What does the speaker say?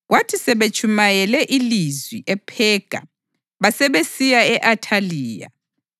kwathi sebetshumayele ilizwi ePhega basebesiya e-Athaliya.